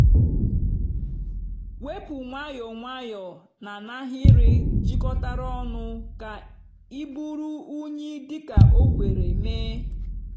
wepu nwayọọ nwayọọ na n'ahịrị jikọtara ọnụ ka iburu unyi dị ka o kwere mee.